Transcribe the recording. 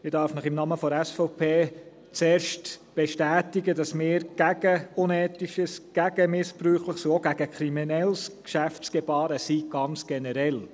Ich darf Ihnen im Namen der SVP zuerst bestätigen, dass wir gegen unethisches, gegen missbräuchliches und auch gegen kriminelles Geschäftsgebaren sind, ganz generell.